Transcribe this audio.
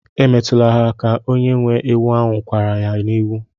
Emetụla ha aka! onye nwe ewu ahu kwara ha n'iwe.